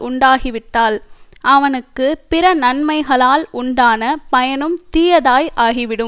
உண்டாகிவிட்டால் அவனுக்கு பிற நன்மைகளால் உண்டான பயனும் தீயதாய் ஆகிவிடும்